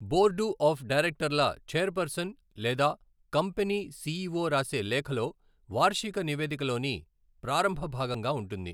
Board of డైరెక్టర్ల chairperson లేదా company CEO రాసే లేఖలో వార్షిక నివేదికలోని ప్రారంభ భాగంగా ఉంటుంది.